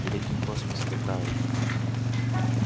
великий космос вы правы